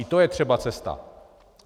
I to je třeba cesta.